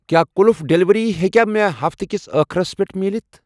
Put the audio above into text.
کیٛاہ قَُلُف ڈیلیوری ہیٚکیٛاہ مےٚ ہفتہٕ کِس أخرَس پٮ۪ٹھ مٕلِتھ؟